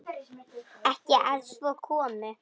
Ekki að svo komnu.